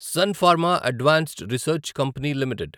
sun Pharma Advanced Research Company limited